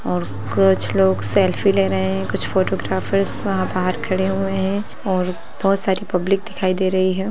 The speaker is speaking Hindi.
और कुछ लोग सेल्फी ले रहे हैं कुछ फोटोग्राफरस वहाँ बाहर खड़े हुए हैं और बहुत सारी पब्लिक दिखाई दे रही है।